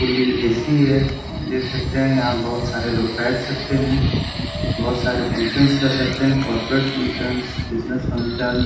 Fully AC है देख सकते हैं यहाँ बोहोत सारे लोग बैठ सकते हैं बोहोत सारे फंक्शन्स कर सकते हैं कॉर्पोरेट फंक्शन्स बिज़नेस फंक्शन्स ।